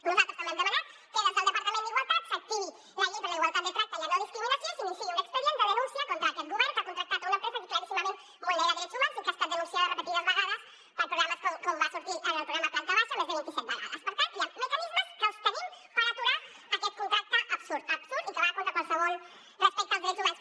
nosaltres també hem demanat que des del departament d’igualtat s’activi la llei per a la igualtat de tracte i la no discriminació i s’iniciï un expedient de denúncia contra aquest govern que ha contractat una empresa que claríssimament vulnera drets humans i que ha estat denunciada repetides vegades per programes com va sortir en el programa planta baixaper tant hi han mecanismes que els tenim per aturar aquest contracte absurd absurd i que va contra qualsevol respecte als drets humans